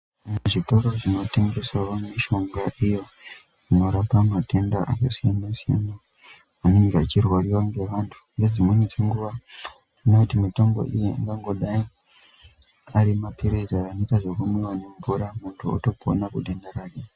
Zvitoro zvinotengeserwa mishonga iyo inorapa matenda akasiyana siyana inonga ichirwariwa ngevantu nedzimweni dzenguva tinoona kuti mitombo iyi inongodai ari mapirizi anoita zvekumwiwa nemvura muntu otopona denda rake.